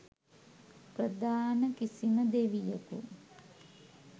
ප්‍රධාන කිසිම දෙවියකු